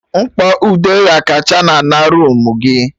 Mkpọ ude ghakacha na ana roomu gị